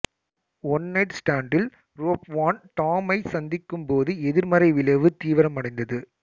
one night ஸ்டேண்டில் Rob Van டாம்மைச் சந்திக்கும் போது எதிர்மறை விளைவு தீவிரமடைந்தது